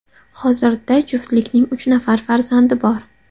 Hozirda juftlikning uch nafar farzandi bor.